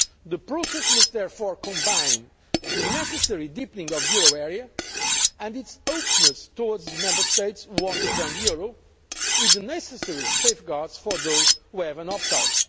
whole. The process must therefore combine the necessary deepening of the euro area and its openness towards the Member States who want to join the euro with the necessary safeguards for those who have an opt